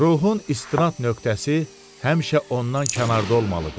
Ruhun istinad nöqtəsi həmişə ondan kənarda olmalıdır.